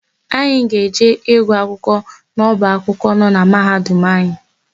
Anyị ga-eje ịgụ akwụkwọ n'ọba akwụkwọ nọ na Mahadum anyị.